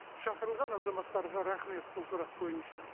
шақырылған азаматтарға рахмет бұл сұрақ бойынша